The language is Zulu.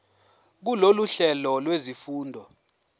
kulolu hlelo lwezifundo